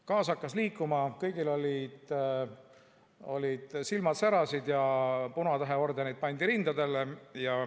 Gaas hakkas liikuma, kõigil silmad särasid ja punatäheordenid pandi rindadele.